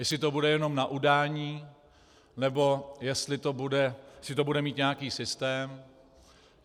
Jestli to bude jenom na udání, nebo jestli to bude mít nějaký systém.